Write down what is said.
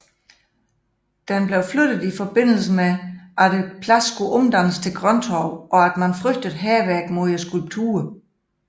Den flyttedes i forbindelse med at pladsen skulle omdannes til grønttorv og at man frygtede hærværk mod skulpturen